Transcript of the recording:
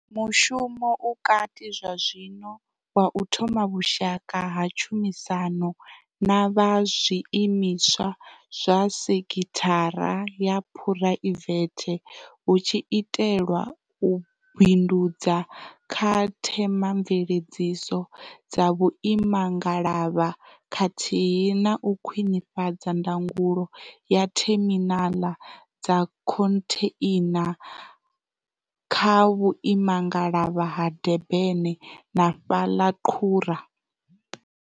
Mushumo u kati zwazwino wa u thoma vhushaka ha tshumisano na vha zwi imiswa zwa sekhithara ya phuraivethe hu tshi itelwa u bindudza kha themamveledziso dza vhuimangalavha khathihi na u khwinifhadza ndangulo ya theminaḽa dza khontheina kha vhuimangalavha ha Durban na fhaḽa qhura.